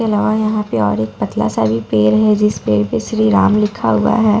के अलावा यहाँ पे और एक पतला सा भी पेड़ है जिस पेड़ पे श्री राम लिखा हुआ है।